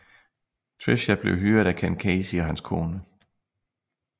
Tricia blev hyret af Ken Casey og hans kone